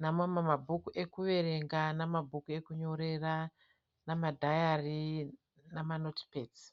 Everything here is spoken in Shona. nemamwe mabhuku ekuverenga namabhuku ekunyorera namadhayari namanotipedzi.